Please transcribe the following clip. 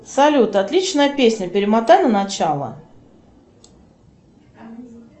салют отличная песня перемотай на начало